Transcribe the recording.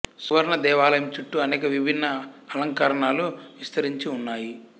సురవణ దేవాలయం చుట్టూ అనేక విభిన్న అలంకరణలు విస్తరించి ఉన్నాయి